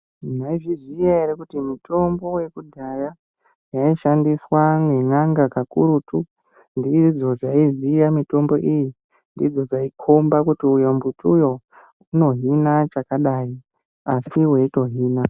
Maizviziya ere kuti mitombo yekudhaya yaishandiswa ngen'anga kakurutu. Ndidzo dzaiziya mitombo iyi, ndidzo dzaikomba kuti uyo mumbuti uyo unohina chakadai asi veitohina.